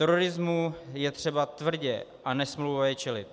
Terorismu je třeba tvrdě a nesmlouvavě čelit.